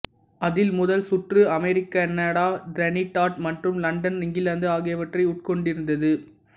அதில் முதல் சுற்று அமெரிக்கா கனடா டிரினிடாட் மற்றும் லண்டன் இங்கிலாந்து ஆகியவற்றை உட்கொண்டிருந்தது